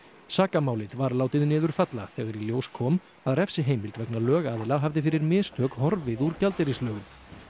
sakamálið var látið niður falla þegar í ljós kom að refsiheimild vegna lögaðila hafði fyrir mistök horfið úr gjaldeyrislögum